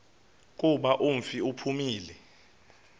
kuba umfi uphumile